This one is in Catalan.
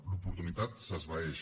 l’oportunitat s’esvaeix